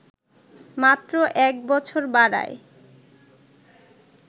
মাত্র ১ বছর বাড়ায়